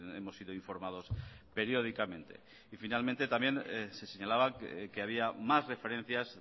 hemos sido informados periódicamente y finalmente también se señalaba que había más referencias